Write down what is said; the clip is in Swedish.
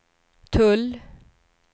tull